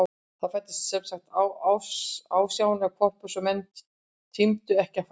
Það fæddist semsagt alsjáandi hvolpur sem menn tímdu ekki að farga.